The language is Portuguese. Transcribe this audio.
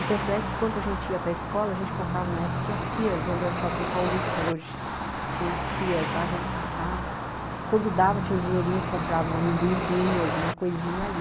E tanto é que quando a gente ia para a escola, a gente passava, na época tinha Sears, onde é o Shopping Paulista hoje, tinha a Sears, lá a gente passava, quando dava tinha um dinheirinho, comprava um amendoizinho, alguma coisinha ali.